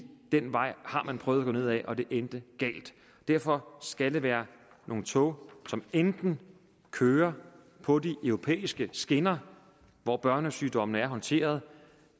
den vej har man prøvet at gå ned ad og det endte galt derfor skal det være nogle tog som enten kører på de europæiske skinner og hvor børnesygdommene er håndteret